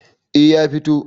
eh ya fito